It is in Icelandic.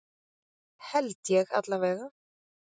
Held ég allavega.